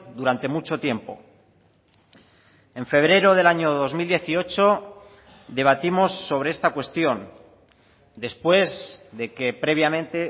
durante mucho tiempo en febrero del año dos mil dieciocho debatimos sobre esta cuestión después de que previamente